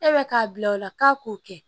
E bɛ k'a bila o la k'a k'o kɛ